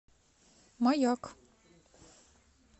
маяк